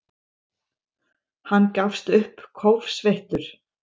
Hann gafst upp, kófsveittur.